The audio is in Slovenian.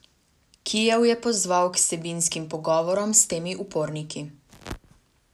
Kijev je pozval k vsebinskim pogovorom s temi uporniki.